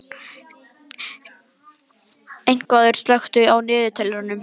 Einvarður, slökktu á niðurteljaranum.